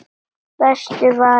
Bestur var valinn.